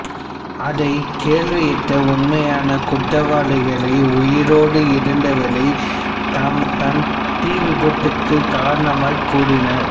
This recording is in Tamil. அதை கேள்வியுற்ற உண்மையான குற்றவாளிகளில் உயிரோடு இருந்தவர் தாம் தான் தீ விபத்துக்குக் காரணமெனக் கூறினார்